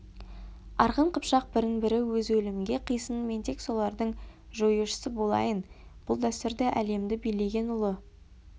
арғын қыпшақ бірін-бірі өзі өлімге қисын мен тек солардың жоюшысы болайын бұл дәстүрді әлемді билеген ұлы